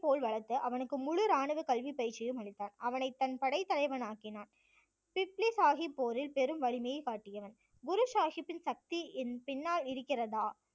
போல் வளர்த்து அவனுக்கு முழு இராணுவ கல்வி பயிற்சியும் அளித்தார். அவனைத் தன் படைத் தலைவனாக்கினார். பிப்லி சாஹிப் போரில் பெரும் வலிமையை காட்டியவன் குரு சாஹிப்பின் சக்தி என் பின்னால் இருக்கிறதா